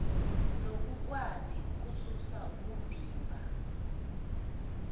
nokukwazi ukususa okuvimba